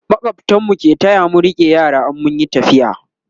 makwabtan mu ke taya mu rike yara in mun Yi tafiya